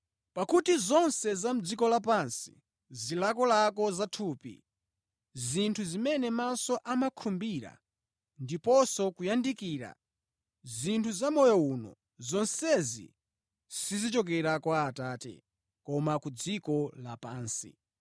Pakuti zonse za mʼdziko lapansi, zilakolako za thupi, zinthu zimene maso amakhumbira ndiponso kuyandikira zinthu za moyo uno, zonsezi sizichokera kwa Atate, koma ku dziko lapansi.